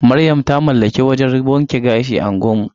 Maryam ta mallaki wajan wanke gashi a unguwar mu.